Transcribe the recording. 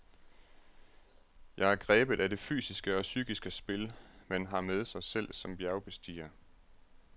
Jeg er grebet af det fysiske og psykiske spil, man har med sig selv som bjergbestiger.